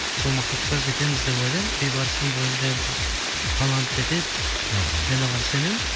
сол мақсатқа жетеміз деп ойлаймын бейбарыстың бойында енді талант жетеді мхм мен оған сенемін